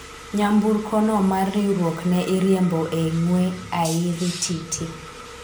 nyamburko no mar riwruok ne iriembo e ng'we airititi